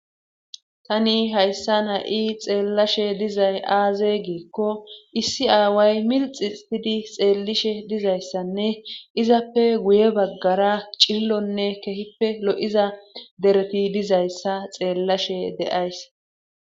tani hayssan ha'i xeellashe dizay aaze giikko issi aaway milxitidi xeellishe dizayssanne izappe guye baggara cillonne kehippe lo'iza dereti dizayssa xeellashe de'ays